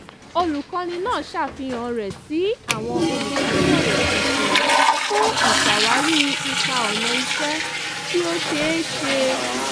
olùkọ́ni náà ṣàfihàn rẹ̀ sí àwọn olùbásọ̀rọ̀ tuntun fún ìṣàwárí ipa ọnà iṣẹ́ tí ó ṣe é ṣe